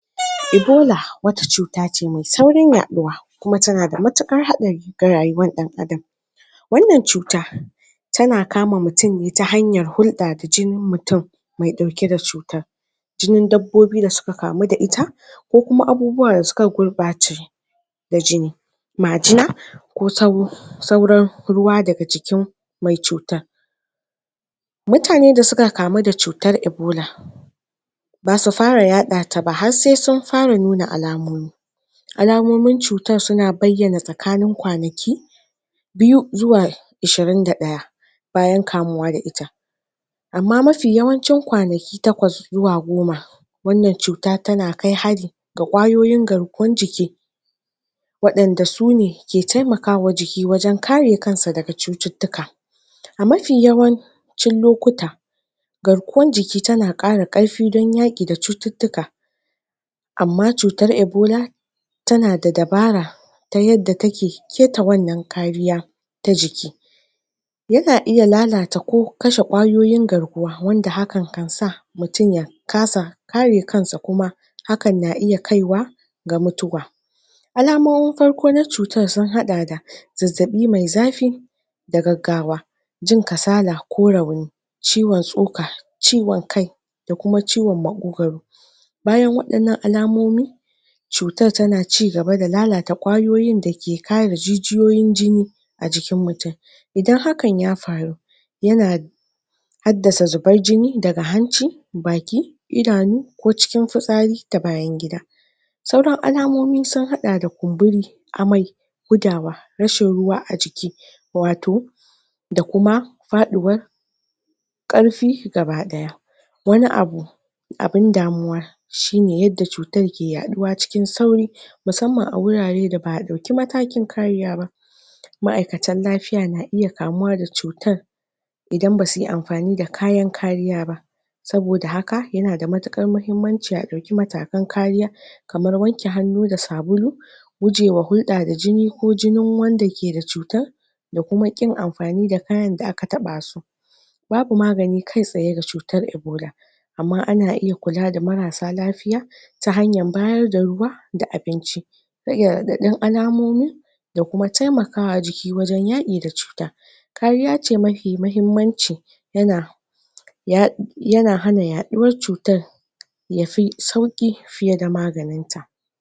Ebola wata cuta ne me saurin yaduwa kuma tana da matukar hadari da rayuwan dan adam Wannan cuta, tana kama mutum ne ta hanyar hulda da jinin mutum me dauke da cutar. Jinin dabbobi da suka kamu da ita, ko kuma abubuwa da suka da jini, majina ko tabo sauran ruwa daga jikin me cutan. Mutane da suka kamu da cutar ebola, basu fara yadda ta ba har sai sun fara nuna alamomi alamomin cutan suna bayyana tsakanin kwanaki, biyu zuwa ishirin da daya bayan kamuwa da ita amma mafi yawancin kwanaki takwas zuwa goma wannan cuta tana kai ga kwayoyin garkuwan jiki wadanda sune ke taimaka wajen biki, wajen kare kansa daga cuttutuka. A mafi yawan cin lokuta, garkuwan jiki tana kara karfi don yaki da cuttutuka amma cutar ebola, tana da dabara ta yadda take keta wannan kariya ta jiki yana iya lalata ko kase kwayoyin garkuwa wanda da hakan kan sa mutum ya kasa kare kansa ko kuma hakan na iya kaiwa ga mutuwa. Alamon farko na cutan sun hada da zazzabi me zafi, da gagawa jin kasala ko ciwon suka, ciwon kai da kuma ciwon makokoro, bayan wadannan alamomi, cutan tana cigaba da lalata kwayoyin dake kara jijiyoyin jini a jikin mutum Idan hakan ya faru yana haddasa zuban jini daga hanci, baki, idanu ko cikin fisari da bayan gida sauran alamomi sun hada da kumburi, amai gudawa, rashin ruwa a jiki wato da kuma fadiwan karfi gabadaya wani abu abun damuwa shi ne yadda cutar ke yaduwa cikin sauri musamman a wurare da ba a dauki matakin kariya ba ma'aikatan lafiya na iya kamuwa da cutan idan basuyi amfani da kayan kariya ba saboda haka yana da matukar mahimmanci a dauki matakan kariya kaman wanke hanu da sabulu wa hulda da jini ko jinin wanda ke da cutan da kuma kin amfani da kayan da aka taba su babu magani kai tsaye da cutan ebola amma ana iya kula da marasa lafiya, ta hanyar bayar da ruwa da abinci da, da alamomi da kuma taimaka wa jiki wajen yaki da cuta. Kariya ce mafi muhimmanci yana yana hana yaduwan cutan yafi sauki